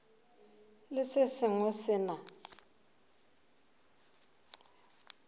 le se sengwe se na